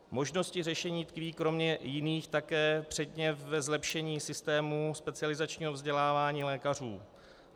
Možnosti řešení tkví kromě jiných také předně ve zlepšení systému specializačního vzdělávání lékařů.